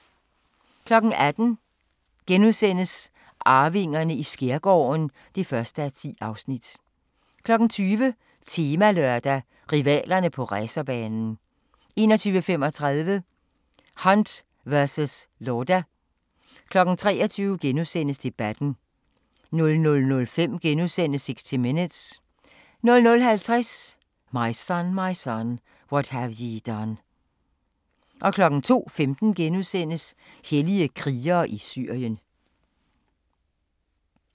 19:00: Arvingerne i skærgården (1:10)* 20:00: Temalørdag: Rivalerne på racerbanen 21:35: Hunt versus Lauda 23:00: Debatten * 00:05: 60 Minutes * 00:50: My Son, My Son, What Have Ye Done 02:15: Hellige krigere i Syrien *